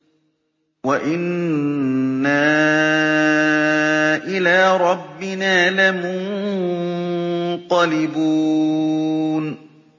وَإِنَّا إِلَىٰ رَبِّنَا لَمُنقَلِبُونَ